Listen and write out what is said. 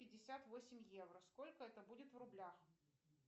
пятьдесят восемь евро сколько это будет в рублях